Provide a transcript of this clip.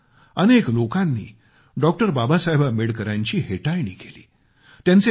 अनेकदा अनेक लोकांनी डॉ बाबासाहेब आंबेडकरांची हेटाळणी केली